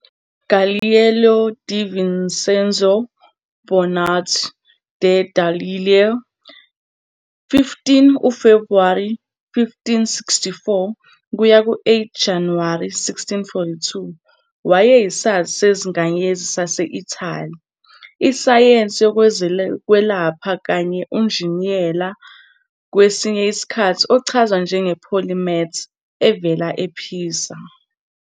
Galileo di Vincenzo Bonaulti de Galilei, 15 uFebhuwari 1564 - 8 Januwari 1642, wayeyisazi sezinkanyezi sase-Italy, isayensi yezokwelapha kanye unjiniyela, kwesinye isikhathi ochazwa njenge- polymath, evela ePisa.